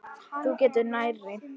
Þú getur nærri.